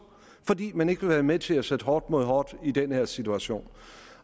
fordi man ikke vil være med til at sætte hårdt mod hårdt i den her situation